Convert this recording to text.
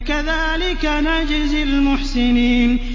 كَذَٰلِكَ نَجْزِي الْمُحْسِنِينَ